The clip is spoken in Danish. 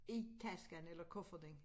I tasken eller kufferten